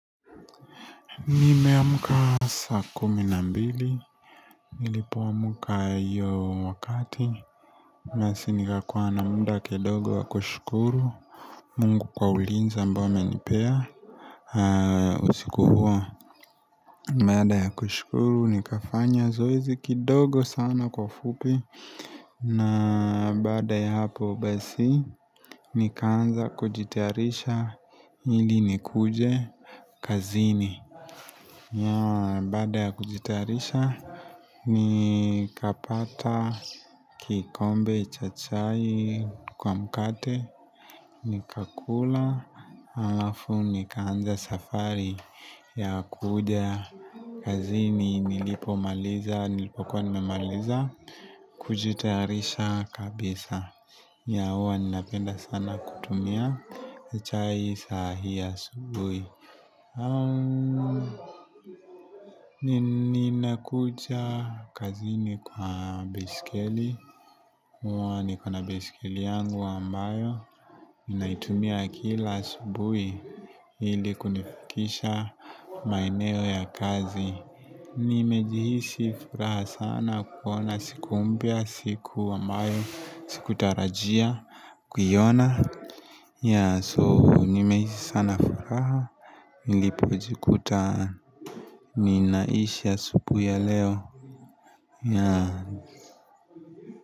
Nime amka saa kumi na mbili, Nilipo amka hiyo wakati nasi nikakuwa na mda kidogo wa kushukuru Mungu kwa ulinzi ambao amenipea usiku huo, Bada ya kushukuru nikafanya zoezi kidogo sana kwa ufupi na baada ya hapo basi Nikaanza kujitayarisha ili nikuje kazini. Yeah baada ya kujitayarisha ni kapata kikombe cha chai kwa mkate Nika kula alafu nika anza safari ya kuja kazini nilipo maliza nilipokuwa nimaliza kujitayarisha kabisa Yeah huwa ni napenda sana kutumia chai saa hii asubuhi Nina kuja kazini kwa baiskeli huwa niko na baiskeli yangu ambayo naitumia kila asubuhi ili kunifikisha maeneo ya kazi ni mejihisi furaha sana kuona siku mpya siku ambayo Sikutarajia kuiona Yeah so nimehisi sana furaha nilipojikuta Ninaisha asubuhi ya leo Yeah.